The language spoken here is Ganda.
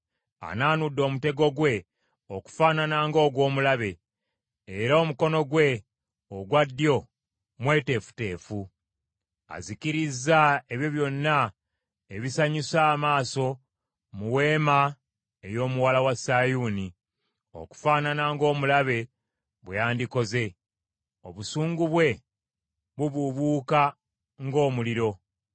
Anaanudde omutego gwe okufaanana nga ogw’omulabe, era omukono gwe ogwa ddyo mweteefuteefu. Azikirizza ebyo byonna ebisanyusa amaaso mu weema ey’omuwala wa Sayuuni, okufaanana ng’omulabe bwe yandikoze; obusungu bwe bubuubuuka ng’omuliro.